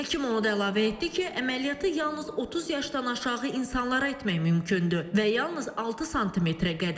Həkim onu da əlavə etdi ki, əməliyyatı yalnız 30 yaşdan aşağı insanlara etmək mümkündür və yalnız 6 sm-ə qədər.